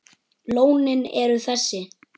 Lónin eru þessi